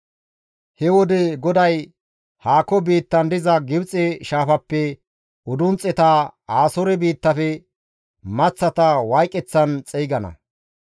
He wode GODAY haako biittan diza Gibxe shaafappe udunxxeta, Asoore biittafe maththata wayqeththan xeygana.